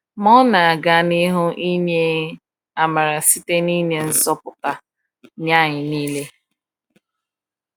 Ma Ọ na-aga n’ihu inye amara site n’inye nzọpụta nye anyị niile.